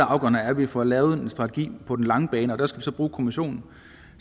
afgørende er at vi får lavet en strategi på den lange bane og der skal vi så bruge kommissionen